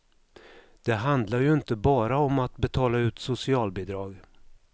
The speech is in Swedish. Det handlar ju inte bara om att betala ut socialbidrag.